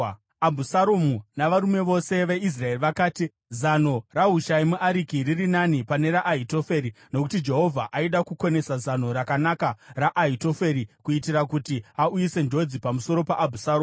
Abhusaromu navarume vose veIsraeri vakati, “Zano raHushai muAriki riri nani pane raAhitoferi.” Nokuti Jehovha aida kukonesa zano rakanaka raAhitoferi kuitira kuti auyise njodzi pamusoro paAbhusaromu.